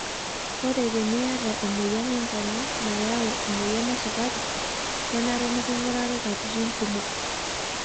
Ore teniyata emoyian oonkonyek nayau emoyian esukari, kenare nikingurari katitin kumok.